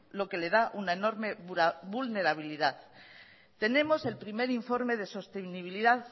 lo que le da una enorme vulnerabilidad tenemos el primer informe de sostenibilidad